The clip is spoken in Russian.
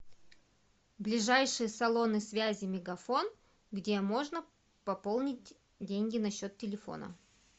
ближайшие салоны связи мегафон где можно пополнить деньги на счет телефона